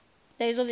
days of the year